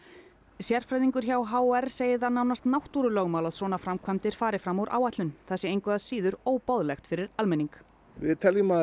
sérfræðingur hjá h r segir það nánast náttúrulögmál að svona framkvæmdir fari fram úr áætlun það sé engu að síður óboðlegt fyrir almenning við teljum að